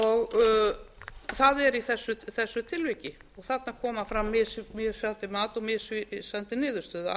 og það er í þessu tilviki þarna kemur fram mismunandi mat og misvísandi niðurstöður